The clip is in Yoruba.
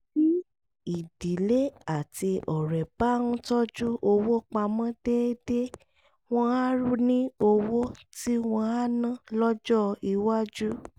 tí ìdílé àti ọ̀rẹ́ bá ń tọ́jú owó pa mọ́ déédéé wọ́n á ní owó tí wọ́n á ná lọ́jọ́ iwájú